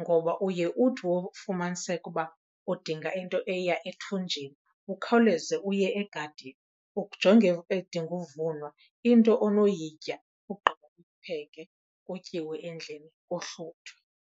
ngoba uye uthi wofumaniseka uba udinga into eya ethunjini, ukhawuleze uye egadini ujonge edinga uvunwa into onoyitya. Ogqiba upheke, kutyiwe endlini kuhluthwe.